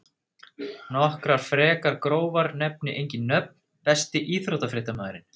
Nokkrar frekar grófar nefni engin nöfn Besti íþróttafréttamaðurinn?